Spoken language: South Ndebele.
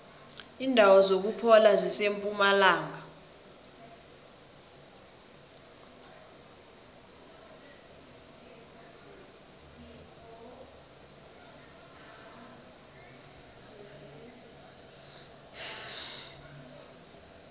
indawo zokuphola zisempumalanga